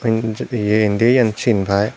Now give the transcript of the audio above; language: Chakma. ye indi iyen cin paai.